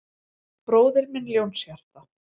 Bróðir minn Ljónshjarta